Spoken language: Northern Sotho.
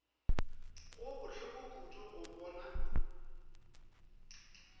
go bohloko kudu go bona